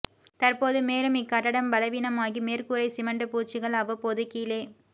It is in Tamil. தற்போது மேலும் இக்கட்டடம் பலவீனமாகி மேற்கூரை சிமென்ட் பூச்சுக்கள் அவ்வப்போது கீழே